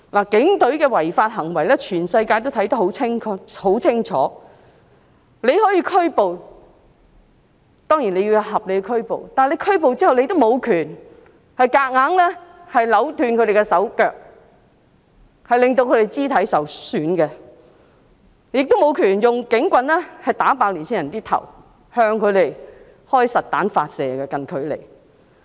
警隊的違法行為，全世界都看得很清楚，他們當然可以作出合理的拘捕，但拘捕後，警察無權強行扭斷被捕人士的手腳，令他們肢體受損，亦無權用警棍"打爆"年輕人的頭，向他們近距離發射實彈。